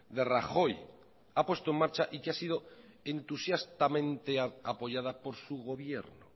de rajoy ha puesto en marcha y que ha sido entusiastamente apoyada por su gobierno